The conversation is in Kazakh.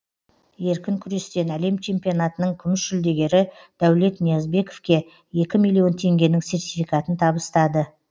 еркін күрестен әлем чемпионатының күміс жүлдегері дәулет ниязбековке екі миллион теңгенің сертификатын табыстады